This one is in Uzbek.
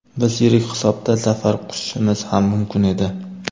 Biz yirik hisobda zafar quchishimiz ham mumkin edi.